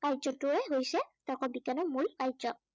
কাৰ্যটোৱে হৈছে তৰ্ক বিজ্ঞানৰ মূল কাৰ্য।